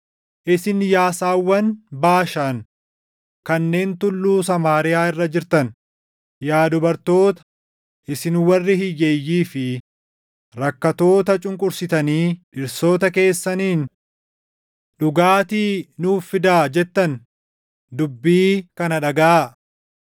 Isin yaa saawwan Baashaan kanneen Tulluu Samaariyaa irra jirtan, yaa dubartoota, isin warri hiyyeeyyii fi rakkattoota cunqursitanii dhirsoota keessaniin, “Dhugaatii nuuf fidaa!” jettan // dubbii kana dhagaʼaa.